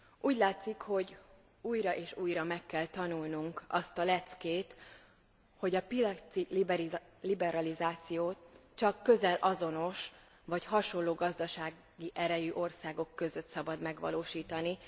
Úgy látszik, hogy újra és újra meg kell tanulnunk azt a leckét, hogy a piaci liberalizációt csak közel azonos vagy hasonló gazdasági erejű országok között szabad megvalósítani.